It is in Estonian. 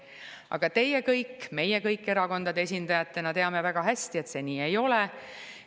Aga teie kõik, meie kõik erakondade esindajatena väga hästi teame, et see nii ei ole.